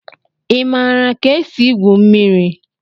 Ị maara ka esi igwu mmiri?